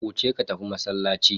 Wuce ka tafi masallaci.